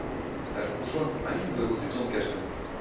Ferguson æfur út í dómgæsluna